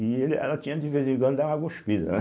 E ele ela tinha de vez em quando dar uma guspida, né?